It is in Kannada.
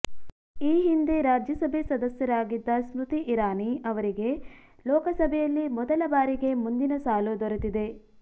ಈ ಹಿಂದೆ ರಾಜ್ಯಸಭೆ ಸದಸ್ಯರಾಗಿದ್ದ ಸ್ಮೃತಿ ಇರಾನಿ ಅವರಿಗೆ ಲೋಕಸಭೆಯಲ್ಲಿ ಮೊದಲ ಬಾರಿಗೆ ಮುಂದಿನ ಸಾಲು ದೊರೆತಿದೆ